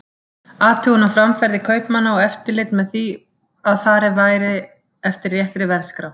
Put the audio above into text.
Athugun á framferði kaupmanna og eftirlit með því að farið væri eftir réttri verðskrá.